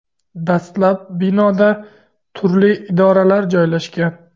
Dastlab binoda turli idoralar joylashgan.